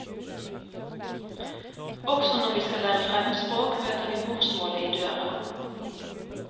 Også når vi skal lære fremmedspråk, møter vi morsmålet i døra.